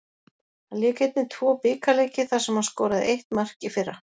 Hann lék einnig tvo bikarleiki þar sem hann skoraði eitt mark í fyrra.